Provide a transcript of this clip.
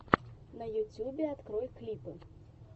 на ютубе открой клипы